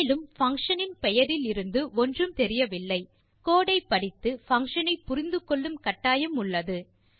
மேலும் பங்ஷன் இன் பெயரிலிருந்து ஒன்றும் தெரியவில்லை கோடு ஐ படித்து பங்ஷன் ஐ புரிந்து கொள்ளும் கட்டாயம் உள்ளது